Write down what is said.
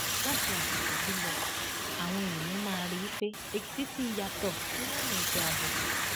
láti àsìkò yìí lọ àwọn èèyàn máa rí i pé èkìtì ti yàtọ nílànà ètò ààbò